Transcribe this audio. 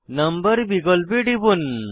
number বিকল্পে টিপুন